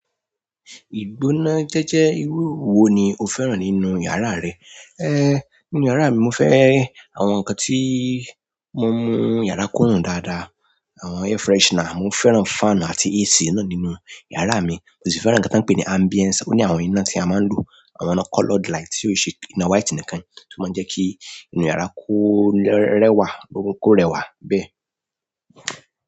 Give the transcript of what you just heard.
Ìgbóná jẹ́jẹ́ irú wo ni o fẹ́ràn nínú yàrá rẹ? Ehn, nínú yàrá mi mo fẹ́ àwọn nǹkan tí ó mú yàrá kúnù dáadáa, àwọn air freshener, mo fẹ́ràn fan àti AC náà nínú yàrá mi. Mo sì fẹ́ràn nǹkan tí wọ́n ń pè ní ambience, ó ní àwọn iná tí a máa ń lò, àwọn ina colored light tí ò n ṣe iná white nìkan, tí ó máa ń jẹ́ kí inú yàrá kó rẹwà, gbogbo kó rẹwà bẹ́ẹ̀.